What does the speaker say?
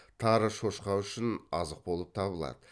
тары шошқа үшін азық болып табылады